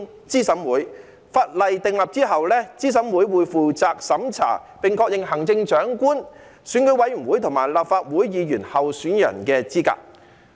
在法例訂立後，資審會將負責審查並確認行政長官、選舉委員會及立法會議員候選人的資格。